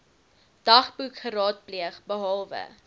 dagboek geraadpleeg behalwe